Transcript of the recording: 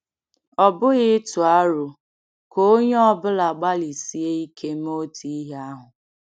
Ọ bụghị ịtụ aro ka onye ọ bụla gbalịsie ike ime otu ihe ahụ.